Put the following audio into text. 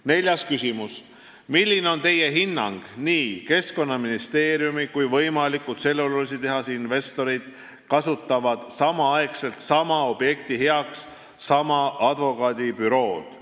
Neljas küsimus: "Milline on Teie hinnang, et nii Keskkonnaministeerium kui ka võimaliku tselluloositehase investorid kasutavad samaaegselt sama objekti heaks sama advokaadibürood?